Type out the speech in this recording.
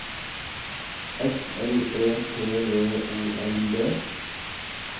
S L E T V O L D